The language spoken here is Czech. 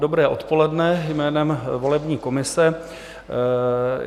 Dobré odpoledne jménem volební komise.